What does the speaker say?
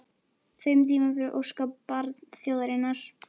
þeim tíma fyrir óskabarn þjóðarinnar?